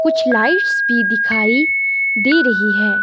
कुछ लाइट्स भी दिखाई दे रही है।